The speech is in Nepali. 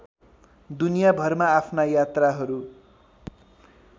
दुनियाँभरमा आफ्ना यात्राहरू